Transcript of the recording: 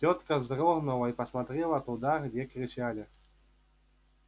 тётка вздрогнула и посмотрела туда где кричали